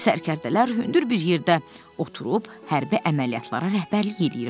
Sərkərdələr hündür bir yerdə oturub hərbi əməliyyatlara rəhbərlik eləyirdilər.